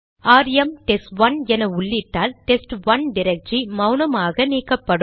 RM test one என உள்ளிட்டால் test one directory மௌனமாக நீக்கப்படும்